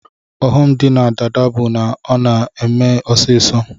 Ọghọm di na dada bu na ọna eme ọsisọ